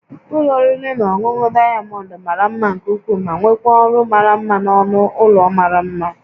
Ụlọ oriri na ọṅụṅụ Diamond mara mma nke ukwuu ma nwekwaa ọrụ mara mma na ọnụ ụlọ mara mma